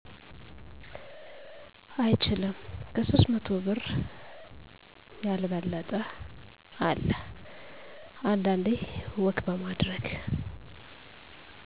አይችልም። ከ300መቶ ብር የልበለጠ። አለ አንዳንዴ ወክ በማድረግ